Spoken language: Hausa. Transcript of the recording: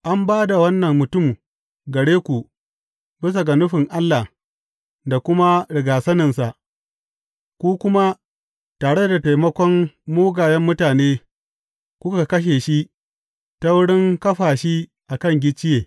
An ba da wannan mutum gare ku bisa ga nufin Allah da kuma rigyasaninsa, ku kuma tare da taimakon mugayen mutane, kuka kashe shi ta wurin kafa shi a kan gicciye.